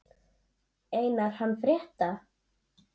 Einar hann frétta.